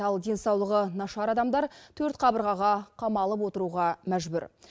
ал денсаулығы нашар адамдар төрт қабырғаға қамалып отыруға мәжбүр